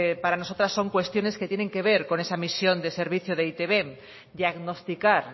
para nosotras son cuestiones que tienen que ver con esa misión de servicio de e i te be diagnosticar